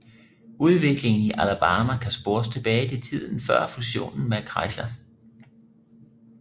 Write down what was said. Udviklingen i Alabama kan spores tilbage til tiden før fusionen med Chrysler